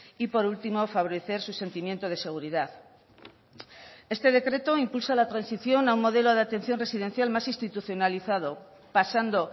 y por último favorecer su sentimiento de seguridad este decreto impulsa la transición a un modelo de atención residencial más institucionalizado pasando